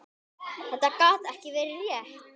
Þetta gat ekki verið rétt.